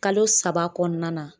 Kalo saba kɔɔna na